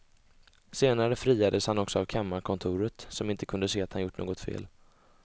Senare friades han också av kammarkontoret som inte kunde se att han gjort något fel.